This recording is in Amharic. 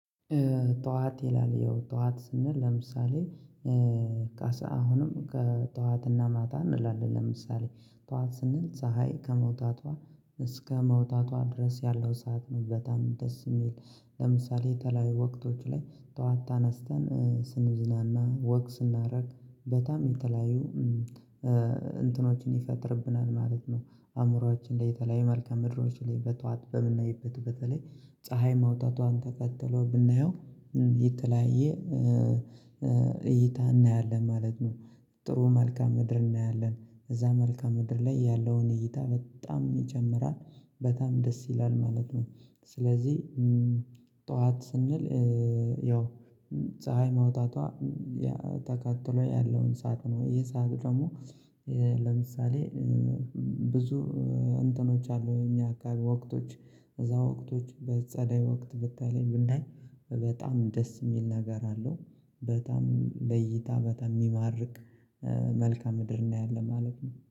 ጠዋት ይላል ያው ጠዋት ስንል ለምሳሌ አሁንም ከጠዋትና ማታ እንላለን ለምሳሌ ጠዋት ስንል ፀሀይ ከመውጣቷ እስከ መውጣቷ ድረስ ያለው ሰዓት ነው በጣም ደስ የሚል ለምሳሌ የተለያዩ ወቅቶች ላይ ጠዋት ተነስተን ስንዝናና ወክ ስናደርግ በጣም የተለያዩ እንትኖችን ይፈጥርብናል ማለት ነው። አእምሮአችን የተለያየ መልካም ምድሮን በጧት በምናይበት በተለይ ፀሀይ ማውጣቷን ተከትሎ ብናየው የተለያየ እይታ እናያለን ማለት ነው። ጥሩ መልካም ምድር እናያለን እዛ መልካም ምድር ላይ ያለውን እይታ በጣም ይጨምራል በጣም ደስ ይላል ማለት ነው። ስለዚህ ጠዋት ስንል ያው ፀሀይ መውጣቷ ተከትሎ ያለውን ሰዓት ነው ይሄ ሰዓት ደግሞ ለምሳሌ ብዙ እንትኖች አሉ እኛ ወቅቶች እዛ ወቅቶች በጸዳይ ወቅት በተለይ ብናይ በጣም ደስ የሚል ነገር አለው። በጣም ለይታ በጣም የሚማርክ መልካም ምድርና ያለ ማለት ነው